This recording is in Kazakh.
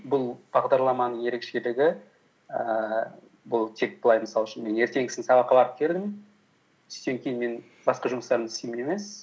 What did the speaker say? бұл бағдарламаның ерекшелігі ііі бұл тек былай мысал үшін мен ертеңгісін сабаққа барып келдім түстен кейін мен басқа жұмыстарымды істеймін емес